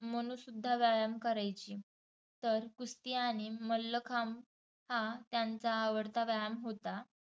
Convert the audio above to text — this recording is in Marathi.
मनूसुद्धा व्यायाम करायची. तर कुस्त्या आणि मल्लखांब हा त्यांचा आवडता व्यायाम होता.